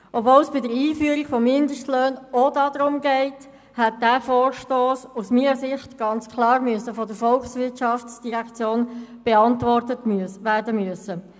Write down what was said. Obwohl es bei der Einführung von Mindestlöhnen auch darum geht, hätte dieser Vorstoss aus meiner Sicht ganz klar von der VOL beantwortet werden müssen.